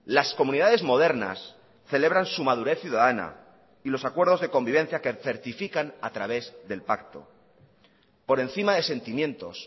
las comunidades modernas celebran su madurez ciudadana y los acuerdos de convivencia que certifican a través del pacto por encima de sentimientos